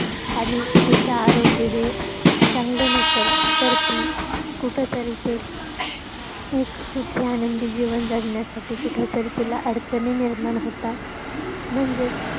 आणि त्याच आरोग्य हे चांगलं नसलं तर ती कुठं तरी ते ते सुखू आनंदी जीवन जगण्यासाठी कुठंतरी तिला अडचणी निर्माण होतात म्हणजेच